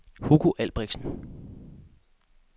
Hugo Albrechtsen